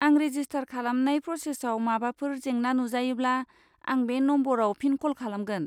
आं रेजिस्टार खालामनाय प्रसेसआव माबाफोर जेंना नुजायोब्ला, आं बे नम्बराव फिन क'ल खालामगोन।